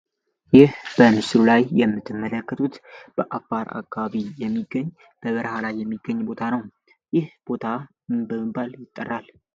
ይህ በንስሩ ላይ የምትመለከቱት በአፋር አጋቢ የሚገኝ በበርሃላይ የሚገኝ ቦታ ነው ይህ ቦታ ንብባል ይጠራል?